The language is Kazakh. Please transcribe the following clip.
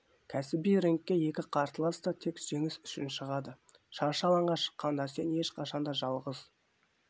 кәсіби рингке екі қарсылас та тек жеңіс үшін шығады шаршы алаңға шыққанда сен ешқашан да жалғыз